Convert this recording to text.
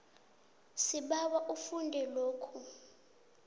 sibawa ufunde lokhu